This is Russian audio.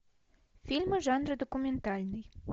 фильмы жанра документальный